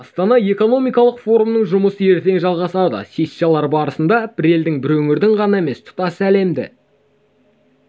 астана экономикалық форумының жұмысы ертең жалғасады сессиялар барысында бір елдің бір өңірдің ғана емес тұтас әлемді